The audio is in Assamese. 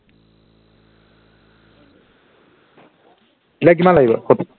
এতিয়া কিমান লাগিব